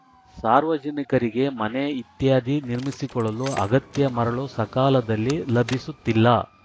ಸಾರ್ವಜನಿಕರಿಗೆ ಮನೆ ಇತ್ಯಾದಿ ನಿರ್ಮಿಸಿಕೊಳ್ಳಲು ಅಗತ್ಯ ಮರಳು ಸಕಾಲದಲ್ಲಿ ಲಭಿಸುತ್ತಿಲ್ಲ